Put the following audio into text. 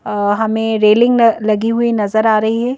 हमें रेलिंग लगी हुई नजर आ रही है।